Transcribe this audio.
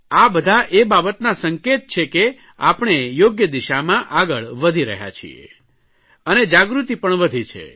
આ બધા એ બાબતના સંકેત છે કે આપણે યોગ્ય દિશામાં આગળ વધી રહ્યા છીએ અને જાગૃતિ પણ વધી છે